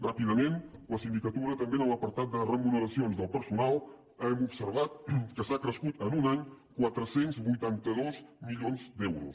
ràpidament la sindicatura també en l’apartat de remuneracions del personal hem observat que s’ha crescut en un any quatre cents i vuitanta dos milions d’euros